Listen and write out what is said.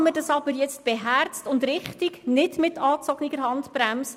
Tun wir dies beherzt und richtig, nicht mit angezogener Handbremse.